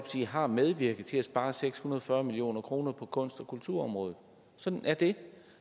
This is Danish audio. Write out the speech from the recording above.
har medvirket til at spare seks hundrede og fyrre million kroner på kunst og kulturområdet sådan er det